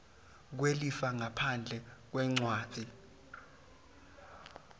kwelifa ngaphandle kwencwadzi